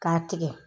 K'a tigɛ